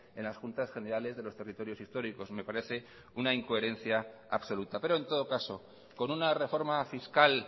en las juntas generales de los territorios históricos me parece una incoherencia absoluta pero en todo caso con una reforma fiscal